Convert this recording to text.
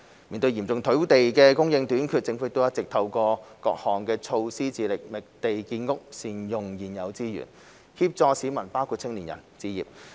面對嚴重土地供應短缺，政府一直透過各項措施，致力覓地建屋和善用現有資源，協助市民包括青年人置業。